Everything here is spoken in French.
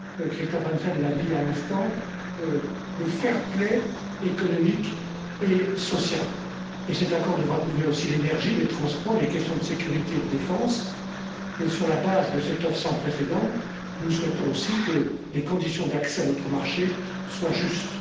Christophe Hansen l'a dit à l'instant, un accord sur le fair play, économique et social, et cet accord devra couvrir aussi l'énergie, les transports, les questions de sécurité et de défense, et sur la base de cette offre sans précédent, nous souhaitons aussi que les conditions d'accès à notre marché soient justes.